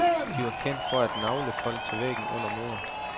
De var kendt for at nagle folk til væggen under møder.